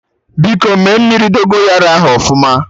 Biko mee mmiri Dogonyaro ahụ ọfụma